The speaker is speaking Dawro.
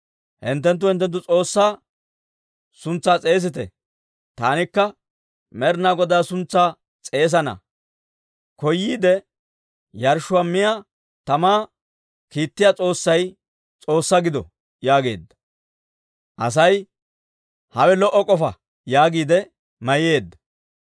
Hinttenttu hinttenttu s'oossaa suntsaa s'eesite; taanikka Med'inaa Godaa suntsaa s'eesana. Koyyiide, yarshshuwaa miyaa tamaa kiittiyaa s'oossay S'oossaa gido» yaageedda. Asay, «Hawe lo"o k'ofa» yaagiide mayyeedda.